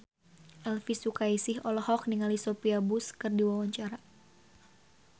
Elvi Sukaesih olohok ningali Sophia Bush keur diwawancara